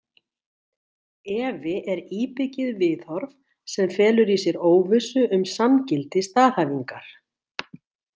Efi er íbyggið viðhorf sem felur í sér óvissu um sanngildi staðhæfingar.